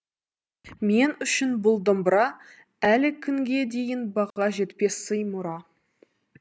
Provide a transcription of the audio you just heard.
мен үшін бұл домбыра әлі күнге дейін баға жетпес сый мұра